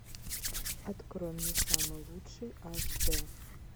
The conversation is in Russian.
открой мне самый лучший аш д